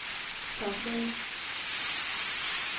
topmøde